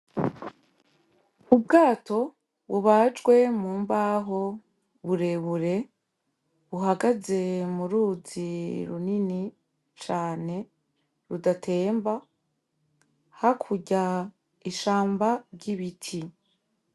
Ubwato bubajwe mu mbaho burebure, buhagaze mu ruzi runini cane, rudatemba. Hakurya, ishamba ry'ibiti.